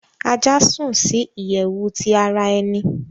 Aja sùn ni iyẹwu ti ara ẹni